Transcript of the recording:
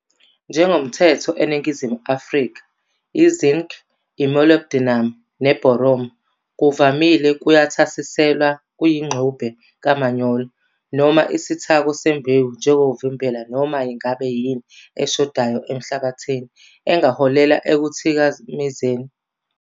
Njengomthetho eNingizimu Afrka, i-zinc, i-molybdenum ne-boron ngokuvamile kuyathasiselwa kuyingxube kamanyolo noma isithako sembewu njengokuvimbela noma ngabe yini eshodayo emhlabathini engaholela ekuthikamezeni ukukhula kahle kwesitshalo.